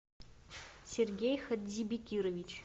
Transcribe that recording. сергей хадзибекирович